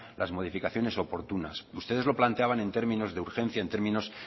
las modificaciones oportunas ustedes lo planteaban en términos de urgencia en términos